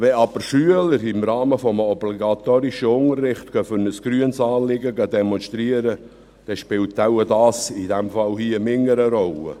Wenn aber Schüler im Rahmen des obligatorischen Unterrichts für ein grünes Anliegen demonstrieren gehen, spielt dies wohl in diesem Fall weniger eine Rolle.